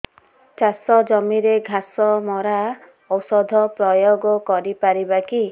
ଚାଷ ଜମିରେ ଘାସ ମରା ଔଷଧ ପ୍ରୟୋଗ କରି ପାରିବା କି